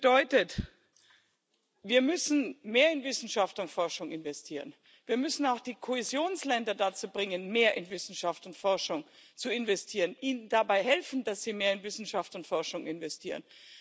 Das bedeutet Wir müssen mehr in Wissenschaft und Forschung investieren, wir müssen auch die Kohäsionsländer dazu bringen, mehr in Wissenschaft und Forschung zu investieren, ihnen dabei helfen, dass sie mehr in Wissenschaft und Forschung investieren.